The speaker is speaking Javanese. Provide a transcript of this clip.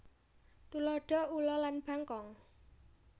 Tuladha ula lan bangkong